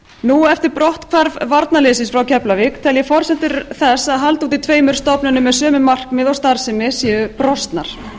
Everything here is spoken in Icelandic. nú eftir brotthvarf varnarliðsins frá keflavík tel ég forsendur þess að halda uppi tveimur stofnunum með sömu markmið og starfsemi séu brostnar